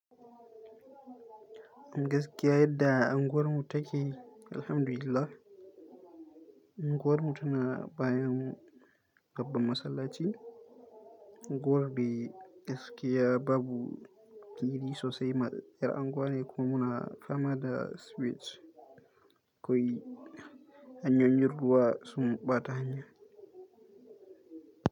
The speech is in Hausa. In gaskiya yadda unguwarmu take, alhamdulillah unguwarmu tana bayan babban masallaci. Unguwar dai gaskiya babu fili sosai matsassiyar unguwa ne kuma na fama da switcg koi. Hanyoyin ruwa sun ɓata hanya.